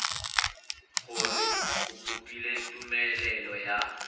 gore o kopile tumelelo ya